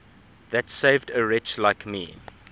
that saved a wretch like me